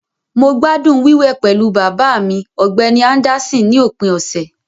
Mo gbádùn wíwẹ̀ pẹ̀lú bàbá mi, Ọ̀gbẹ́ni Anderson, ní òpin ọ̀sẹ̀.